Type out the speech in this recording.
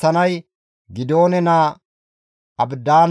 He istta qooday 35,400.